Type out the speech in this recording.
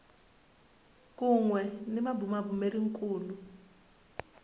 kun we ni mabumabumeri kulu